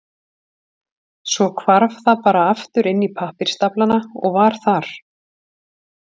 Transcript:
Svo hvarf það bara aftur inn í pappírsstaflana og var þar.